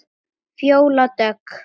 Fjóla Dögg.